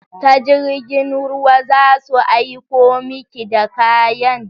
Ta jirgin ruwa za su aiko miki da kayan?